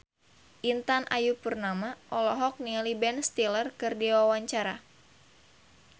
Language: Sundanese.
Intan Ayu Purnama olohok ningali Ben Stiller keur diwawancara